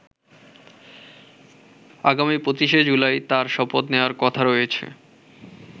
আগামী ২৫শে জুলাই তার শপথ নেওয়ার কথা রয়েছে।